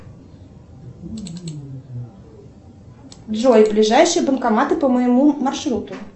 джой ближайшие банкоматы по моему маршруту